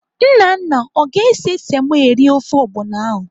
Nnanna ọ ga-ese semo eri ofe ọgbọnọ ahụ?